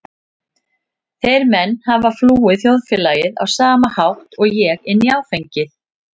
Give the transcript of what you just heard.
Þeir menn hafa flúið þjóðfélagið á sama hátt og ég- inn í áfengið.